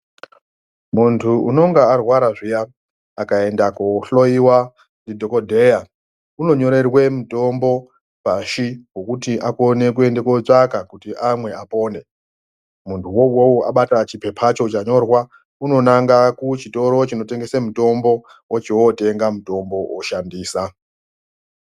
Muntu unonga arwara zviya akaenda kohloiwa ndidhogodheya unonyorerwe mutombo pashi vekuti akone kuenda kotsvaka kuti amwe apone. Muntuwo uwowo abata chipepacho chanyorwa unonanga kuchitoro chinotengesa mutombo ochotenga mutombo oshandisa.